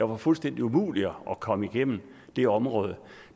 var fuldstændig umuligt at komme igennem det område